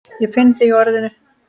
Ég finn þig í orðinu.